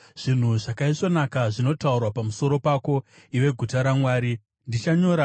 Zvinhu zvakaisvonaka zvinotaurwa pamusoro pako, iwe guta raMwari: Sera